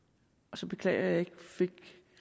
så beklager jeg at jeg ikke fik